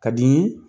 Ka di n ye